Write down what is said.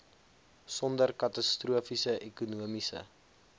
sonder katastrofiese ekonomiese